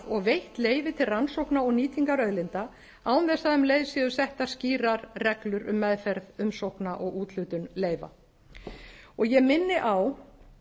og veitt leyfi til rannsókna og nýtingar auðlinda án þess að um leið séu settar skýrar reglur um meðferð umsókna og úthlutun leyfa og ég minni á